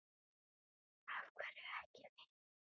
Af hverju ekki við?